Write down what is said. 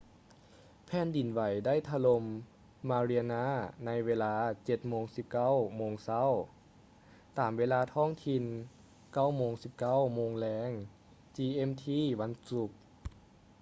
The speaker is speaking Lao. ແຜ່ນດິນໄຫວໄດ້ຖະຫຼົ່ມ mariana ໃນເວລາ 07:19 ໂມງເຊົ້າ ຕາມເວລາທ້ອງຖິ່ນ 09:19 ໂມງແລງ gmt ວັນສຸກ